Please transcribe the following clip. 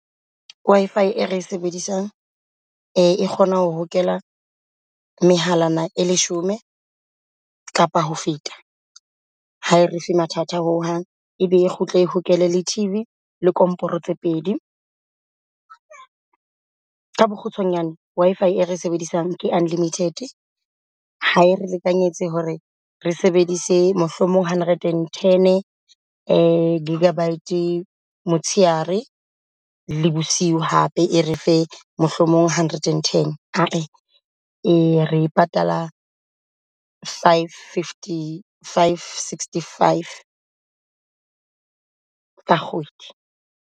Wi-Fi ere e sebedisang e kgona ho hokela mehalana e leshome kapa ho feta. Ha re fe mathata ho hang ebe e kgutle e hokele le T_V le komporo tse pedi. Ka bokgutshwanyane Wi-Fie re sebedisang ke unlimited hae re lekanyetse hore re sebedise mohlomong hundred and ten gigabyte motsheare le bosiu. Hape e re fe mohlomong hundred and ten haa. Re e patala five fifty, five sixty five ka kgwedi.